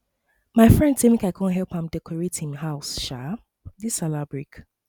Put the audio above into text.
my friend say mek I come help am decorate him house um dis sallah break